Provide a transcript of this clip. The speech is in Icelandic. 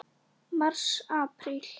Mars Apríl